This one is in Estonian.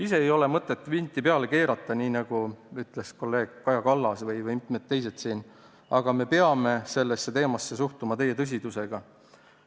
Ise ei ole mõtet vinti peale keerata, nagu ütlesid kolleeg Kaja Kallas ja mitmed teisedki, aga me peame sellesse teemasse suhtuma täie tõsidusega.